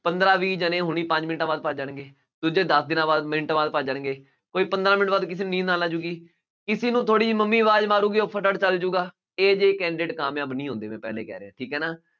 ਪੰਦਰਾਂ ਵੀਹ ਜਣੇ ਹੁਣੀ ਪੰਜ ਮਿੰਟਾਂ ਬਾਅਦ ਭੱਜ ਜਾਣਗੇ। ਦੂਜੇ ਦਸ ਦਿਨਾਂ ਬਾਅਦ, ਮਿੰਟਾਂ ਬਾਅਦ ਭੱਜ ਜਾਣਗੇ, ਕੋਈ ਪੰਦਰਾਂ ਮਿੰਟ ਬਾਅਦ ਕਿਸੇ ਨੂੰ ਨੀਂਦ ਆਉਣ ਲੱਗ ਜਾਊਗੀ, ਕਿਸੇ ਨੂੰ ਥੋੜ੍ਹੀ ਜਿਹੀ ਮੰਮੀ ਆਵਾਜ਼ ਮਾਰੂਗੀ, ਉਹ ਫਟਾਫਟ ਚੱਲ ਜਾਊਗਾ, ਇਹ ਜਿਹੇ candidate ਕਾਮਯਾਬ ਨਹੀਂ ਹੁੰਦੇ, ਮੈਂ ਪਹਿਲੇ ਕਹਿ ਰਿਹਾ, ਠੀਕ ਹੈ ਨਾ,